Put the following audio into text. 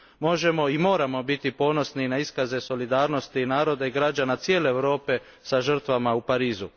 Možemo i moramo biti ponosni na iskaze solidarnosti naroda i građana cijele Europe sa žrtvama u Parizu.